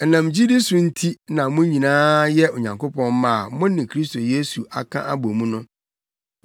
Ɛnam gyidi so nti na mo nyinaa yɛ Onyankopɔn mma a mo ne Kristo Yesu aka abɔ mu no.